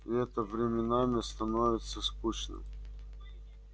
и это временами становится скучным